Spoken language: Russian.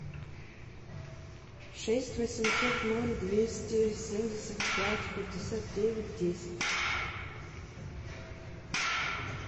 шесть восемьсот ноль двести семьдесят пять пятьдесят девять десять